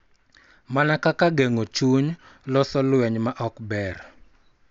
Mana kaka geng�o chuny, loso lweny ma ok ber,